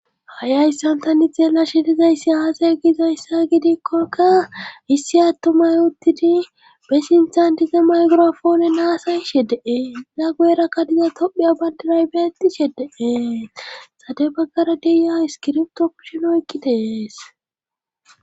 Ha'i ayssantani xeela shidizayssi aasay giizayssa gidikkokka issi attumay uttidi besintantize maygrofoone naasay she dee ida guerakka diza tophiya bandinay beetti she dee sade baggara deyiya iskirpto pushinoykki deees.